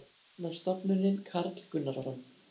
Hafrannsóknastofnunin- Karl Gunnarsson